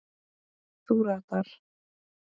Þú ratar?